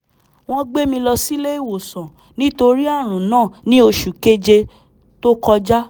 wọ́n gbé mi lọ sílé ìwòsàn nítorí ààrùn náà ní oṣù kéje tó kọjá